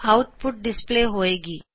out ਪੁੱਟ display ਹੋਏ ਗੀ